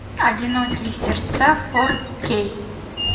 одинокие сердца фор кей